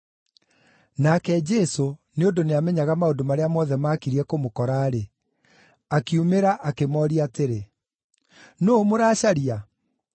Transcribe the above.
Nake Jesũ nĩ ũndũ nĩamenyaga maũndũ marĩa mothe maakirie kũmũkora-rĩ, akiumĩra akĩmooria atĩrĩ, “Nũũ mũracaria?”